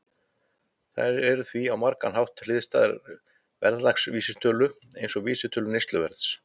Þær eru því á margan hátt hliðstæðar verðlagsvísitölum, eins og vísitölu neysluverðs.